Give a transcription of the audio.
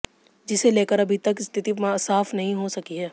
जिसे लेकर अभी तक स्थिति साफ नहीं हो सकी है